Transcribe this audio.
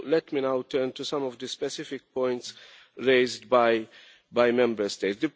Let me now turn to some of the specific points raised by Member States.